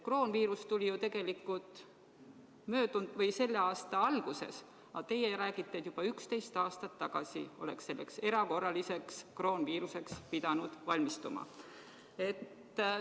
Kroonviirus tuli ju tegelikult selle aasta alguses, aga teie räägite, et juba 11 aastat tagasi oleks selleks erakorraliseks kroonviiruseks pidanud valmistuma.